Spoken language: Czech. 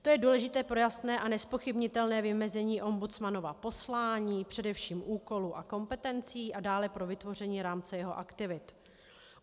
To je důležité pro jasné a nezpochybnitelné vymezení ombudsmanova poslání, především úkolů a kompetencí, a dále pro vytvoření rámce jeho aktivit.